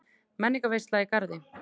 Menningarveisla í Garði